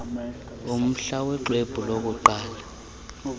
umhla woxwebhu lokuqala